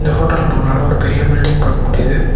ஃபோட்டோல நம்மளால ஒரு பெரிய பில்டிங் பாக்க முடிது.